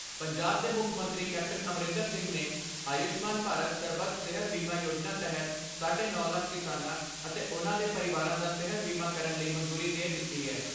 ਪੰਜਾਬ ਦੇ ਮੁੱਖ ਮੰਤਰੀ ਕੈਪਟਨ ਅਮਰਿੰਦਰ ਸਿੰਘ ਨੇ ਆਯੂਸ਼ਮਾਨ ਭਾਰਤ ਸਰਬੱਤ ਸਿਹਤ ਬੀਮਾ ਯੋਜਨਾ ਤਹਿਤ ਸਾਢੇ ਨੌ ਲੱਖ ਕਿਸਾਨਾਂ ਅਤੇ ਉਨ੍ਹਾਂ ਦੇ ਪਰਿਵਾਰਾਂ ਦਾ ਸਿਹਤ ਬੀਮਾ ਕਰਨ ਲਈ ਮਨਜ਼ੂਰੀ ਦੇ ਦਿੱਤੀ